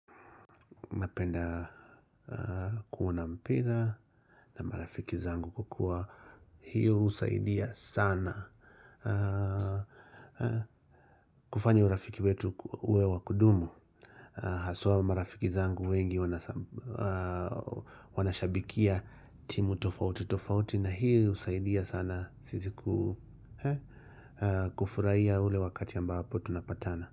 Napenda kuona mpira na marafiki zangu kwa kuwa. Hiyo husaidia sana. Kufanya urafiki wetu uwe wa kudumu. Haswa marafiki zangu wengi wanashabikia timu tofauti tofauti. Na hiyo husaidia sana. Kufurahia ule wakati ambapo tunapatana.